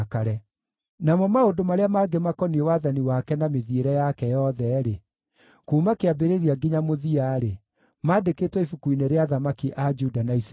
Namo maũndũ marĩa mangĩ makoniĩ wathani wake na mĩthiĩre yake yothe-rĩ, kuuma kĩambĩrĩria nginya mũthia-rĩ, maandĩkĩtwo ibuku-inĩ rĩa athamaki a Juda na Isiraeli.